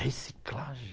Reciclagem.